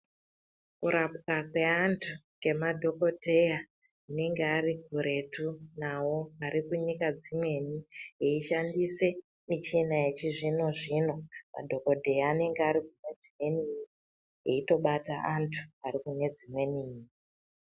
Kurapwa kweantu ngemadhogodheya anenge ari kuretu navo. Ari kunyika dzimweni eishandise michina yechizvino-zvino, madhogodheya anenge ari kunedzimweni nyika eitobata antu ari kune dzimweni nyika.